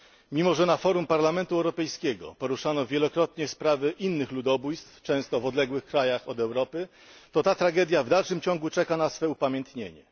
Mimo, że na forum Parlamentu Europejskiego poruszano wielokrotnie sprawy innych ludobójstw, często w krajach odległych od Europy, to ta tragedia w dalszym ciągu czeka na swe upamiętnienie.